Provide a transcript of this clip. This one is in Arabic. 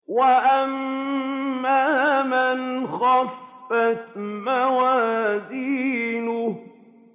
وَأَمَّا مَنْ خَفَّتْ مَوَازِينُهُ